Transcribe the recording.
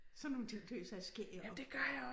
Sådan nogle ting tøs jeg er skæg at